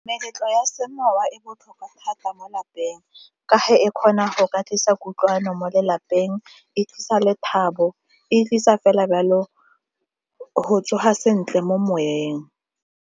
Meletlo ya semowa e botlhokwa thata mo lapeng ka fa e kgona go ka tlisa kutlwano mo lelapeng, e tlisa lethabong e tlisa fela yalo go tsoga sentle mo moweng.